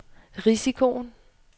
risikoen